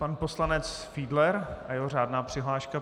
Pan poslanec Fiedler a jeho řádná přihláška.